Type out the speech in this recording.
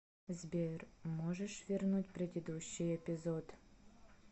сбер можешь вернуть предыдущий эпизод